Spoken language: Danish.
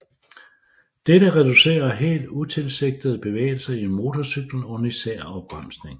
Dette reducerer helt utilsigtede bevægelser i motorcyklen under især opbremsning